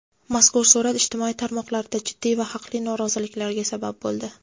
Mazkur surat ijtimoiy tarmoqlarda jiddiy va haqli norozilikka sabab bo‘ldi.